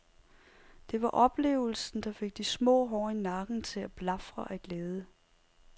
Det var oplevelsen, der fik de små hår i nakken til at blafre af glæde.